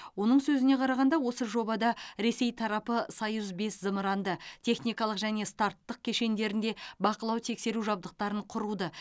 оның сөзіне қарағанда осы жобада ресей тарапы союз бес зымыранды техникалық және старттық кешендерінде бақылау тексеру жабдықтарын құруды